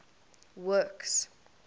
works